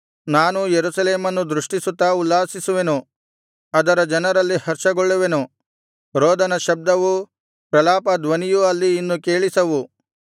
ನಾನೂ ಯೆರೂಸಲೇಮನ್ನು ದೃಷ್ಟಿಸುತ್ತಾ ಉಲ್ಲಾಸಿಸುವೆನು ಅದರ ಜನರಲ್ಲಿ ಹರ್ಷಗೊಳ್ಳುವೆನು ರೋದನ ಶಬ್ದವೂ ಪ್ರಲಾಪಧ್ವನಿಯೂ ಅಲ್ಲಿ ಇನ್ನು ಕೇಳಿಸವು